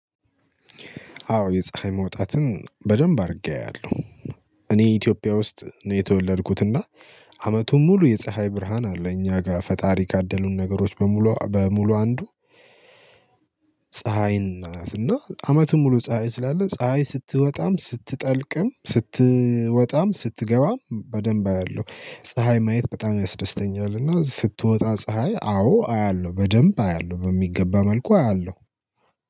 አዎ የፀሀይ መውጣትን በደንብ አድርጌ አያለሁ። እኔ ኢትዮጵያ ውስጥ ነው የተወለድኩት እና አመቱን ሙሉ የፀሀይ ብርሃን አለ እኛ ጋር ፈጣሪ ካደሉን ነገሮች በሙሉ በሙሉ አንዱ ፀሀይ ናት እና አመቱን ሙሉ ፀሀይ ስላለ ፀሀይ ስትወጣም ስትጠልቅም ስትወጣም ስትገባም በደንብ አያለሁ ፀሀይ ማየት በጣም ያስደስተኛልና ስትወጣ ፀሀይ አዎ አያለሁ በደንብ አያለሁ በሚገባ መልኩ አያለሁ